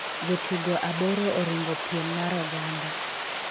jotugo aboro oringo piem mar oganda